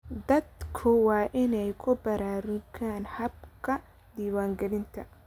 Dadku waa inay ku baraarugaan habka diiwaangelinta.